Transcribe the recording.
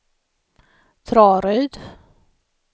Traryd